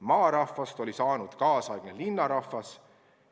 Maarahvast oli saanud linnarahvas.